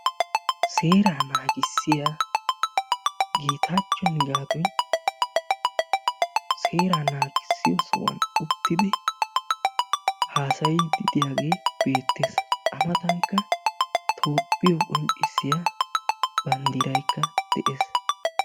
seera naagissiyaa Getachcho Nigaattoy seeraa nagissiyo sohuwaan uttidi haassayidi diyaage beettees; a mattankka Toophiyo qonccissiyo banddiraykka de'ees.